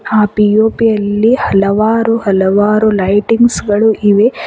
ಆ ಪಿ_ಒ_ಪಿ ಅಲ್ಲಿ ಹಲವಾರು ಹಲವಾರು ಲೈಟಿಂಗ್ಸ್ ಗಳು ಇವೆ.